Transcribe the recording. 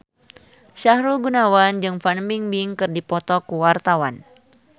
Sahrul Gunawan jeung Fan Bingbing keur dipoto ku wartawan